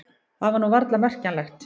Það var nú varla merkjanlegt.